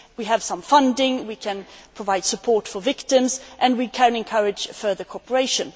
We have some funding, we can provide support for victims and we can encourage further cooperation.